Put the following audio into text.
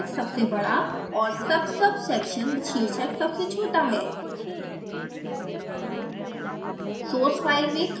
section शीर्षक सबसे बड़ा और subsubsection शीर्षक सबसे छोटा है